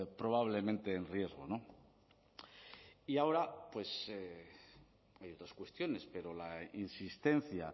probablemente en riesgo y ahora pues hay otras cuestiones pero la insistencia